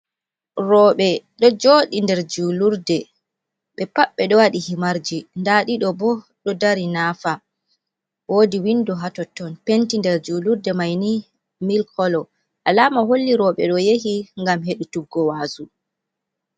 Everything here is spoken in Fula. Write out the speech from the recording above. Rooɓe ɗo joɗi nder julurde be pat ɓe ɗo wadi himarji, nda ɗiɗo bo ɗo dari naafa, wodi window ha totton, penti nder julurde mai ni milik kolo, alama holli rooɓe ɗo yahi ngam hedutuggo wazu.